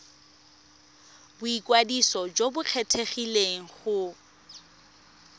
boikwadiso jo bo kgethegileng go